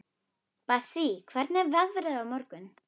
Bassí, hvernig er veðrið á morgun?